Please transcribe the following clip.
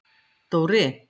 Dóri